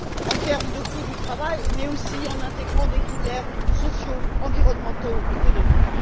en termes de coût du travail, mais aussi en intégrant des critères sociaux, environnementaux, économiques.